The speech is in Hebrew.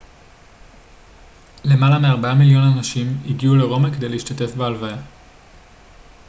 למעלה מארבעה מיליון אנשים הגיעו לרומא כדי להשתתף בהלוויה